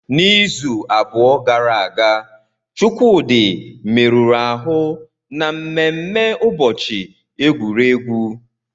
N'izu abụọ gara aga, Chukwudi merụrụ ahụ na mmemme ụbọchị egwuregwu.